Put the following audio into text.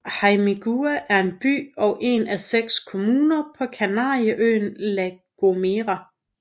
Hermigua er en by og en af seks kommuner på Kanarieøen La Gomera